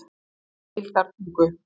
Deildartungu